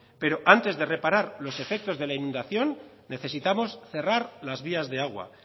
pero antes de reparar los efectos de la inundación necesitamos cerrar las vías de agua